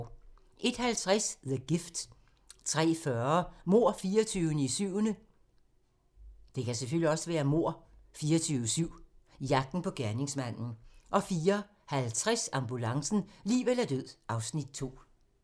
01:50: The Gift 03:40: Mord 24/7 - jagten på gerningsmanden 04:50: Ambulancen - liv eller død (Afs. 2)